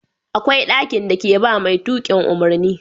Akwai ɗaki da ke ba mai tukin umarni